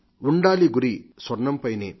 ఉండాలి గురి స్వర్ణం పైనే